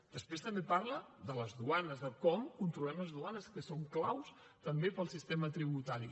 després també parla de les duanes de com controlem les duanes que són clau també per al sistema tributari